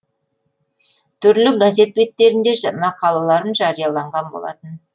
түрлі газет беттерінде мақалаларым жарияланған болатын